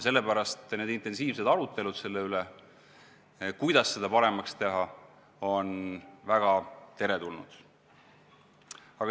Sellepärast intensiivsed arutelud selle üle, kuidas seda paremaks teha, on väga teretulnud.